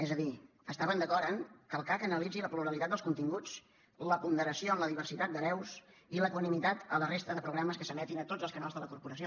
és a dir estaven d’acord en que el cac analitzi la pluralitat dels continguts la ponderació en la diversitat de veus i la equanimitat a la resta de programes que s’emetin a tots els canals de la corporació